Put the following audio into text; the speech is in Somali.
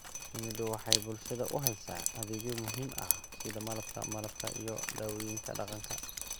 Shinnidu waxay bulshada u haysaa adeegyo muhiim ah sida Malabka, Malabka iyo dawooyinka dhaqanka.